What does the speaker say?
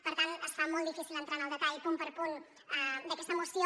per tant es fa molt difícil entrar en el detall punt per punt d’aquesta moció